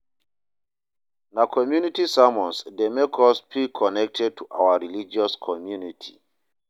Na community sermons dey make us feel connected to our religious community